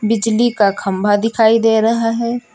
बिजली का खंबा दिखाई दे रहा है।